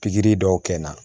Pikiri dɔw kɛ na